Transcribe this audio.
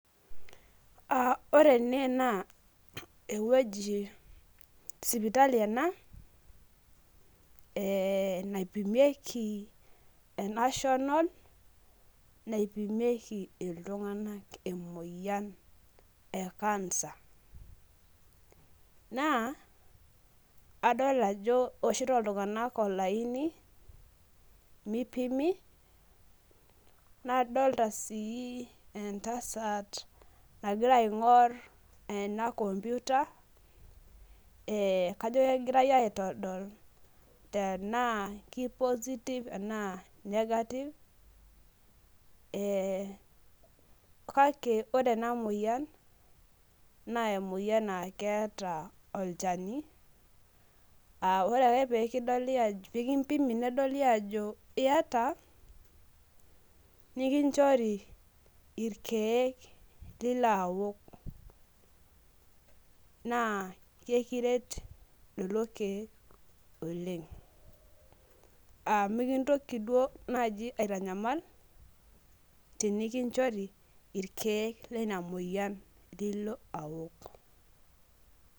ore ene naa sipitali ena naipimieki e national naipimieki iltung'anak emoiyian e cancer, naa adol ajo ewoshito iltung'anak olaini mipimi naadolta sii endasat nagira aing'or ena kompuita kajo kegirai aitol tenaa kipositiv enaa kinengativ, naa ore enamoyian naa keeta olchani, aa ore ake pee kimpimi nedoli ajo iyata , nikichori ilkeek lilo awok naa ekiret lelokek oleng' aa mikintoki duo naaji aitanyamal tiniki chori ikeek lena moyian nilo awok.